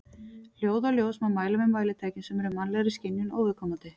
Hljóð og ljós má mæla með mælitækjum sem eru mannlegri skynjun óviðkomandi.